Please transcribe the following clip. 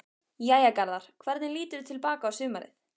Jæja Garðar, hvernig líturðu til baka á sumarið?